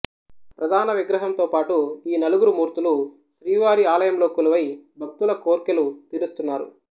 ప్రధాన విగ్రహంతో పాటు ఈ నలుగురు మూర్తులు శ్రీవారి ఆలయంలో కొలువై భక్తుల కోర్కెలు తీరుస్తున్నారు